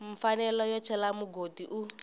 mfanelo yo cela mugodi u